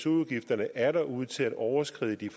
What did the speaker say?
udgifterne atter ud til at overskride de